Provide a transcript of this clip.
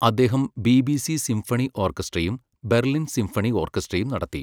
അദ്ദേഹം BBC symphony ഓർക്കസ്ട്രയും, Berlin symphony ഓർക്കസ്ട്രയും നടത്തി.